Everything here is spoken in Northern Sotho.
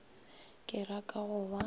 ke ra ka go ba